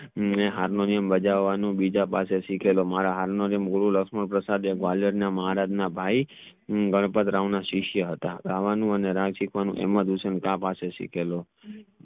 અને હાર્મોનિયું બજવનું બીજા પાસે સિખેલો મારા હાલ નો જે ગુરુ લક્ષ્મણ પ્રસાદ ના ગ્વાલિયર ના મહારાજ ના ભાઈ ગણપતરાવ ના સિસયા હતા રાવણું અને રાજી પણ મધુસંકા પાસે સિખલો